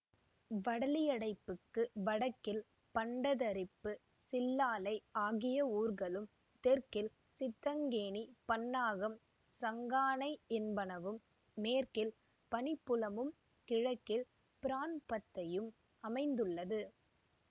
வடலியடைப்புக்கு வடக்கில் பண்டத்தரிப்பு சில்லாலை ஆகிய ஊர்களும் தெற்கில் சித்தங்கேணி பண்ணாகம் சங்கானை என்பனவும் மேற்கில் பனிப்புலமும் கிழக்கில் பிரான்பத்தையும் அமைந்துள்ளது